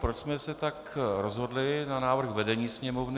Proč jsme se tak rozhodli, na návrh vedení Sněmovny.